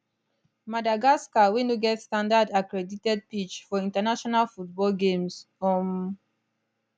madagascar wey no get standard accredited pitch for international football games um